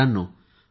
मित्रांनो